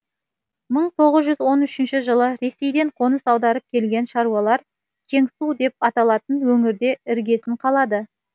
мың тоғыз жүз он үшінші жылы ресейден қоныс аударып келген шаруалар кеңсу деп аталатын өңірде іргесін қалады